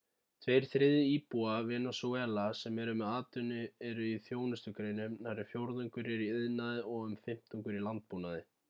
tveir þriðju íbúa venezúela sem eru með atvinnu eru í þjónustugreinum nærri fjórðungur er í iðnaði og um fimmtungur í landbúnaði